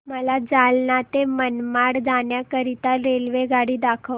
मला जालना ते मनमाड जाण्याकरीता रेल्वेगाडी दाखवा